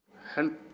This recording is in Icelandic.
held